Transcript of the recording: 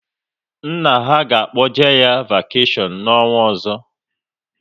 Nna ha ga-akpoje ha vakeshion n'ọnwa ọzọ